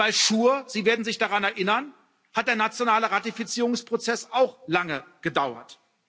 Bei SURE Sie werden sich daran erinnern hat der nationale Ratifizierungsprozess auch lange gedauert.